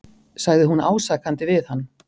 sagði hún ásakandi við hann.